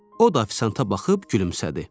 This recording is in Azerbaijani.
O da afisanta baxıb gülümsədi.